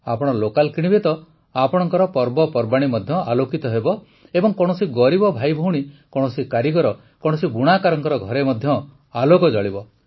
ଆପଣ ଲୋକାଲ୍ କିଣିବେ ତ ଆପଣଙ୍କର ପର୍ବପର୍ବାଣୀ ମଧ୍ୟ ଆଲୋକିତ ହେବ ଏବଂ କୌଣସି ଗରିବ ଭାଇଭଉଣୀ କୌଣସି କାରିଗର କୌଣସି ବୁଣାକାରଙ୍କ ଘରେ ମଧ୍ୟ ଆଲୋକ ଜଳିବ